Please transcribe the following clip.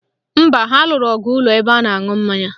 Mba, ha lụrụ ọgụ n'ụlọ ebe a na-aṅụ mmanya